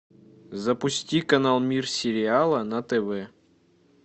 запусти канал мир сериала на тв